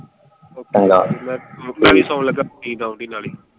ਚੰਗਾ, ਮੈਂ ਵੀ ਸੌਣ ਲੱਗਾ ਨੀਂਦ ਆਉਣ ਡੀ।